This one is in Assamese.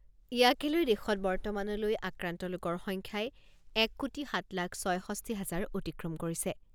ইয়াকে লৈ দেশত বৰ্তমানলৈ আক্ৰান্ত লোকৰ সংখ্যাই এক কোটি সাত লাখ ছয়ষষ্ঠি হাজাৰ অতিক্ৰম কৰিছে।